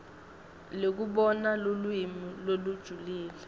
lekubona lulwimi lolujulile